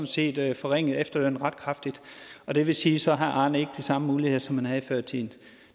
set forringede efterlønnen ret kraftigt og det vil sige at så har arne ikke de samme muligheder som han havde før i tiden